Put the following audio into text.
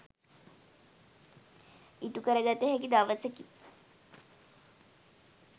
ඉටුකර ගත හැකි දවසකි.